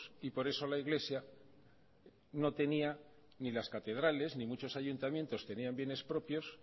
y por eso la iglesia no tenía ni las catedrales ni muchos ayuntamientos tenían bienes propios